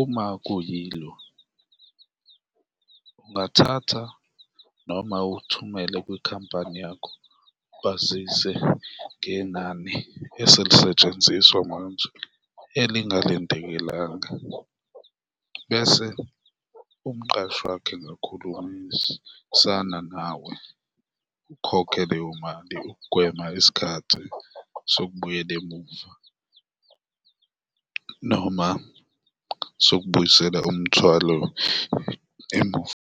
Uma kuyilo, ungathatha noma uthumele kwikhampani yakho, bazise ngenani eselisetshenziswa manje elingalindekelanga bese umqashi wakho egakhulumisana nawe ukhokhe leyo mali ukugwema isikhathi sokubuyela emuva noma sokubuyisela umthwalo emuva.